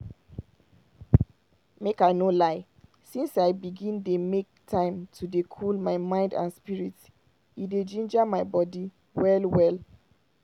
make i no lie since i begin dey make time to dey cool my mind and spirit e dey ginger my body well well.